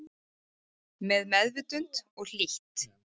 Með meðvitund og hlýtt